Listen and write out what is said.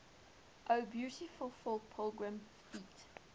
o beautiful for pilgrim feet